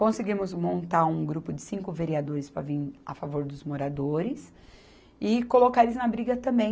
Conseguimos montar um grupo de cinco vereadores para vir a favor dos moradores e colocar eles na briga também.